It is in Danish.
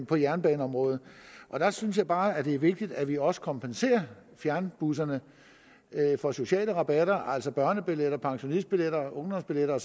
på jernbaneområdet og der synes jeg bare det er vigtigt at vi også kompenserer fjernbusserne for sociale rabatter altså børnebilletter pensionistbilletter ungdomsbilletter